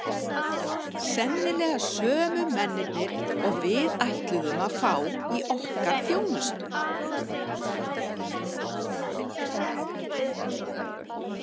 Ég hefði auðvitað átt að segja þér strax að ég væri blind.